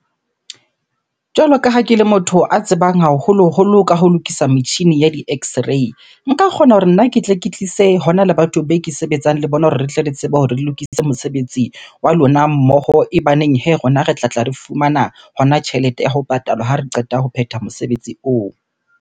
Jwalo ka ha ke le motho a tsebang haholoholo ka ho lokisa metjhini ya di-x-ray. Nka kgona hore nna ke tle ke tlise hona le batho be ke sebetsang le bona hore re tle re tsebe hore lokisitse mosebetsi wa lona mmoho. E baneng hee, rona re tlatla re fumana hona tjhelete ya ho patalwa ha re qeta ho phetha mosebetsi oo.